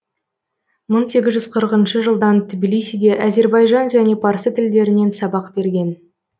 мың сегіз жүз қырықыншы жылдан тбилисиде әзірбайжан және парсы тілдерінен сабақ берген